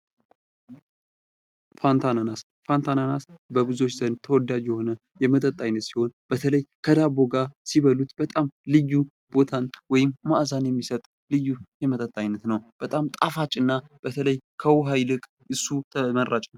ፋንታ አናናስ:- ፋንታ አናናስ በብዙዎች ዘንድ ተወዳጅ የሆነ የመጠጥ አይነት ሲሆን በተለይ ከዳቦ ጋር ሲበሉት በጣም ወይም መዓዛን የሚሰጥ ልዩ የመጠጥ አይነት ነዉ። በጣም ጣፋጭ እና በተለይ ከዉኃ ይልቅ እሱ ተመራጭ ነዉ።